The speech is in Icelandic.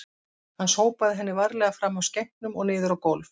Hann sópaði henni varlega fram af skenknum og niður á gólf